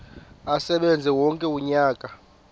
asebenze wonke umnyaka